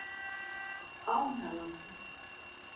Ánalandi